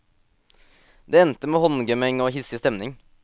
Det endte med håndgemeng og hissig stemning.